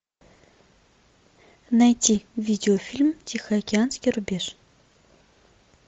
найти видеофильм тихоокеанский рубеж